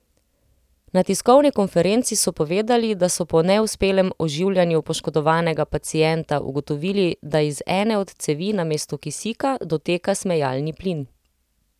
Na tiskovni konferenci so povedali, da so po neuspelem oživljanju poškodovanega pacienta ugotovili, da iz ene od cevi namesto kisika doteka smejalni plin.